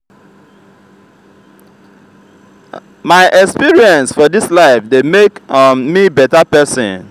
my my experience for dis life dey make um me beta pesin.